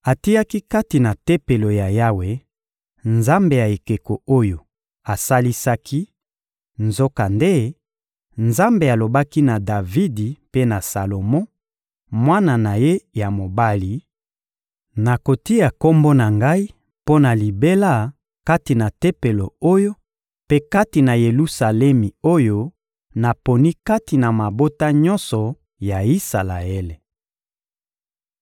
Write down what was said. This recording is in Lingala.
Atiaki kati na Tempelo ya Yawe nzambe ya ekeko oyo asalisaki; nzokande, Nzambe alobaki na Davidi mpe na Salomo, mwana na ye ya mobali: — Nakotia Kombo na Ngai mpo na libela kati na Tempelo oyo mpe kati na Yelusalemi oyo naponi kati na mabota nyonso ya Isalaele.